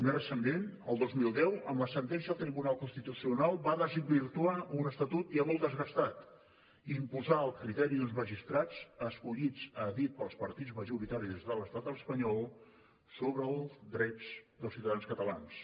més recentment el dos mil deu amb la sentència del tribunal constitucional va desvirtuar un estatut ja molt desgastat i imposà el criteri d’uns magistrats escollits a dit pels partits majoritaris de l’estat espanyol sobre els drets dels ciutadans catalans